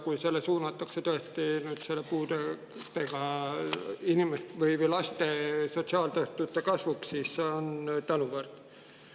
Kui see suunatakse tõesti nüüd puudega laste sotsiaaltoetuste kasvu, siis on see tänuväärt.